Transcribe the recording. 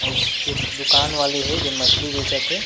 अउ उस के दुकान वाले हे जे मछली बेचत हे।